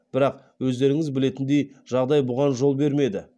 бірақ өздеріңіз білетіндей жағдай бұған жол бермеді